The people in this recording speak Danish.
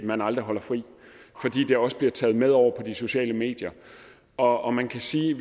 man aldrig holder fri fordi det også bliver taget med over på de sociale medier og og man kan sige